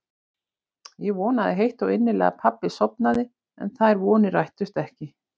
Ég vonaði heitt og innilega að pabbi sofnaði en þær vonir rættust ekki.